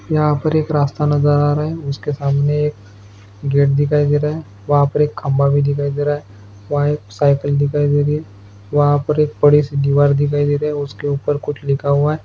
यहाँ पर एक रास्ता नजर आ रहा है जिसके सामने एक गेट दिखाई दे रहा है वहां पर एक खंभा भी दिखाई दे रहा है वहाँ एक साइकल दिखाई दे रही है वहाँ पर एक बड़ी सी दीवार दिखाई दे रही है उसके ऊपर कुछ लिखा हुआ है।